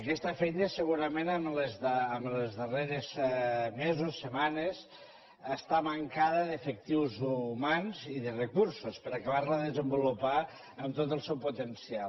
aquesta feina segurament en els darrers mesos setmanes està mancada d’efectius humans i de recursos per acabar la de desenvolupar amb tot el seu potencial